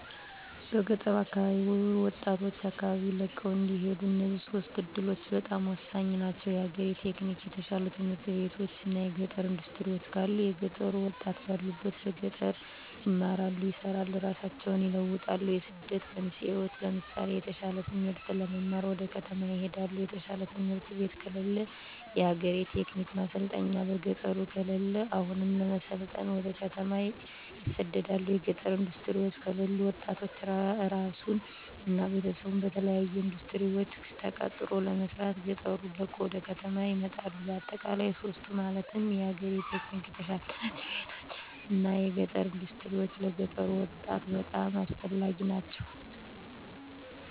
በገጠር አካባቢ ወጣቶች አካባቢወን ለቀው እንዳይሄዱ እነዚህ ሶስቱ እዱሎች በጣም ሆሳኝ ናቸው። የአግሪ-ቴክኒክ፣ የተሻሉ ትምህርት ቤቶች እና የገጠር እንዳስትሪወች ካሉ የገጠሩ ወጣት ባሉበት በገጠር ይማራሉ፣ ይሰራሉ እራሳቸውን ይለውጣሉ። የስደት መንስኤወች ለምሳሌ የተሻለ ትምህርት ለመማር ወደ ከተማ ይሄዳሉ። የተሻለ ትምህርት ቤት ከለለ። የአግሪ-ቴክ ማሰልጠኛ በገጠሩ ከለለ አሁንም ለመሰልጠን ወደ ከተማ ይሰደዳሉ። የገጠር እንዳስትሪወች ከለሉ ወጣቱ እራሱን እና ቤተሰቡን በተለያሉ እንዳስትሪወች ተቀጥሮ ለመስራት ገጠሩን ለቆ ወደ ከተማ ይመጣል። በአጠቃላይ ሶስቱ ማለትም የአግሪ-ቴክ፣ የተሻሉ ት/ቤቶች እና የገጠር እንዳስትሪወች ለገጠሩ ወጣት በጣም አስፈላጊ ናቸው።